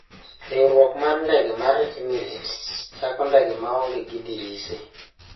Riwruok mar ndege mar Emirates chako ndege maonge gi dirise